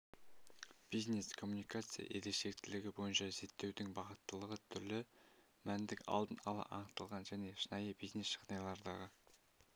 бизнес-коммуникация ерекшелігі бойынша зерттеудің бағыттылығы түрлі мәтіндік-алдын ала анықталған және шынайы бизнес-жағдайлардағы